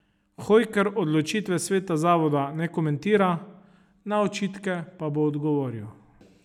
Hojker odločitve sveta zavoda ne komentira, na očitke pa bo odgovoril.